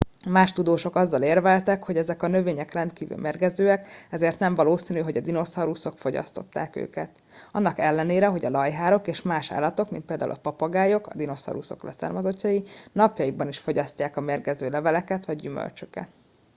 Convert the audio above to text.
más tudósok azzal érveltek hogy ezek a növények rendkívül mérgezőek ezért nem valószínű hogy a dinoszauruszok fogyasztották őket annak ellenére hogy a lajhárok és más állatok mint például a papagájok a dinoszauruszok leszármazottai napjainkban is fogyasztják a mérgező leveleket vagy gyümölcsöket